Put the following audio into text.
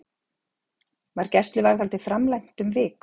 Var gæsluvarðhaldið framlengt um viku